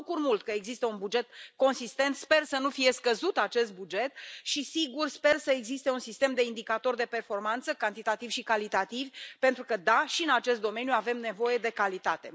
Mă bucur mult că există un buget consistent, sper să nu fie scăzut acest buget și, sigur, sper să existe un sistem de indicatori de performanță cantitativi și calitativi pentru că, da, și în acest domeniu avem nevoie de calitate.